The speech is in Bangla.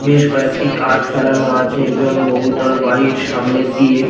বেশ কয়েকটি কাঠ ফেলানো আছে এবং বহুতল বাড়ির সামনে দিয়ে--